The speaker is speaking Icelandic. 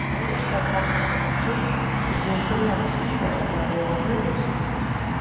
Hún var augljóslega talsvert vitur úr því hún kunni á tvíverknaði og höfuðsyndir.